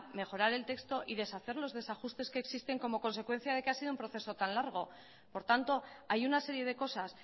mejorar el texto y deshacer los desajustes que existen como consecuencia de que ha sido un proceso tan largo por tanto hay una serie de cosas